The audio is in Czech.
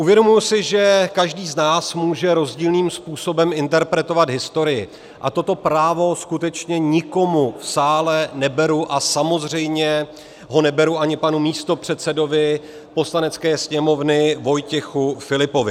Uvědomuji si, že každý z nás může rozdílným způsobem interpretovat historii, a toto právo skutečně nikomu v sále neberu a samozřejmě ho neberu ani panu místopředsedovi Poslanecké sněmovny Vojtěchu Filipovi.